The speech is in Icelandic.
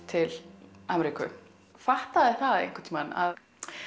til Ameríku fattaði það einhvern tímann að